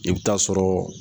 I bɛ taa sɔrɔ